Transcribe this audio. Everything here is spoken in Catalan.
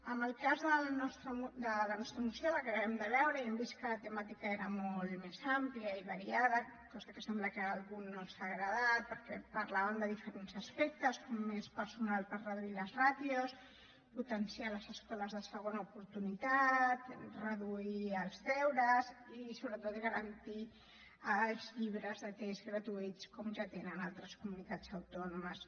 en el cas de la nostra moció la que acabem de veure ja hem vist que la temàtica era molt més àmplia i variada cosa que sembla que a algú no li ha agradat perquè parlàvem de diferents aspectes com més personal per reduir les ràtios potenciar les escoles de segona oportunitat reduir els deures i sobretot garantir els llibres de text gratuïts com ja tenen a altres comunitats autònomes